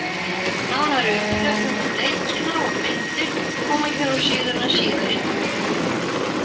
Nánari umfjöllun um leikina og myndir koma hér á síðuna síðar í kvöld.